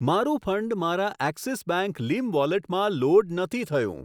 મારું ફંડ મારા Axis bank લીમ વોલેટમાં લોડ નથી થયું.